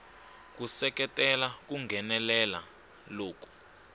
ku seketela ku nghenelela loku